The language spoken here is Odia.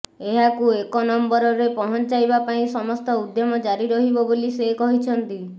ଏହାକୁ ଏକ ନମ୍ୱରରେ ପହଞ୍ଚାଇବା ପାଇଁ ସମସ୍ତ ଉଦ୍ୟମ ଜାରି ରହିବ ବୋଲି ସେ କହିଛନ୍ତି